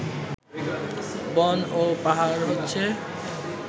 বন এবং পাহাড় হচ্ছে